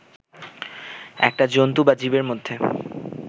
একটা জন্তু বা জীবের মধ্যে